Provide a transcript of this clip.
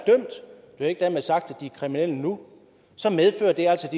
jo ikke dermed sagt de er kriminelle nu så medfører det altså at